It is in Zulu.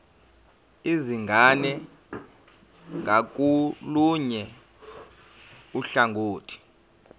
izingane ngakolunye uhlangothi